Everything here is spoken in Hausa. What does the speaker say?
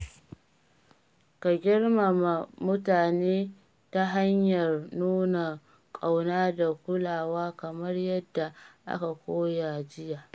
Ka girmama mutane ta hanyar nuna ƙauna da kulawa kamar yadda aka koya jiya.